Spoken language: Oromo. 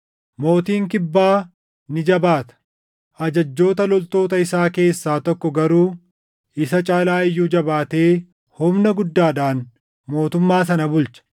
“Mootiin Kibbaa ni jabaata; ajajjoota loltoota isaa keessaa tokko garuu isa caalaa iyyuu jabaatee humna guddaadhaan mootummaa sana bulcha.